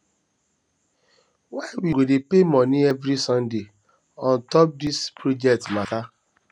why we go dey pay moni every sunday on top dis project mata